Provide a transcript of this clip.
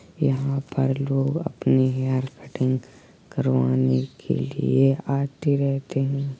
यहाँ पर लोग अपने हेयर कटिंग करवाने के लिए आते रहते हैं।